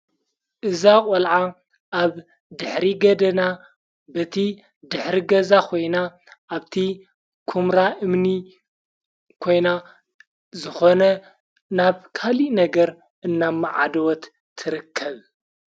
እዛ ቖልዓ ኣብ ድኅሪ ገደና በቲ ድኅሪ ገዛ ኾይና ኣብቲ ኩምራ እምኒ ኮይና ዝኾነ ናብካሊ ነገር እናብ መዓደወት ትርከብ::